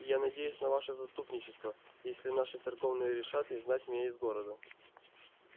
и я надеюсь на ваше заступничество если наши церковные решат изгнать меня из города